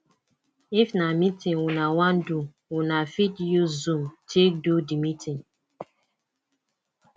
if na meeting una wan do una fit use zoom take do di meeting